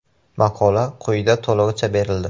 Maqola quyida to‘lig‘icha berildi.